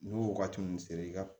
N'o wagati min sera i ka